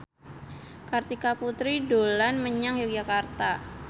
Kartika Putri dolan menyang Yogyakarta